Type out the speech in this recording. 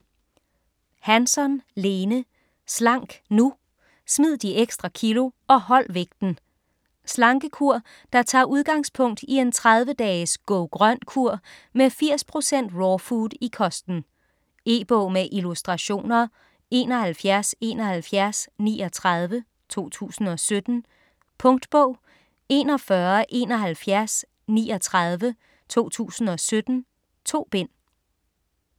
Hansson, Lene: Slank nu!: smid de ekstra kilo og hold vægten Slankekur der tager udgangspunkt i en 30 dages "Go-grøn kur" med 80% raw food i kosten. E-bog med illustrationer 717139 2017. Punktbog 417139 2017. 2 bind.